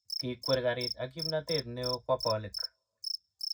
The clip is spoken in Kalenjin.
Kikwer karit ak kimnatet neo kwo bolik.